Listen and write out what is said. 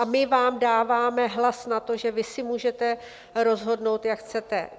a my vám dáváme hlas na to, že vy si můžete rozhodnout, jak chcete.